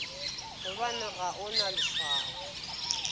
gobane ga o na leswao